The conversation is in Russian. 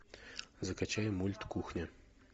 закачай мульт кухня